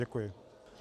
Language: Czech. Děkuji.